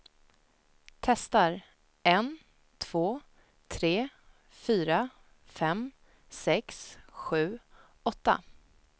Testar en två tre fyra fem sex sju åtta.